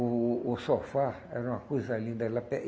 O o sofá era uma coisa linda. Ela